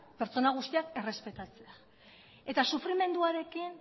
pertsona guztiak errespetatzen eta sufrimenduarekin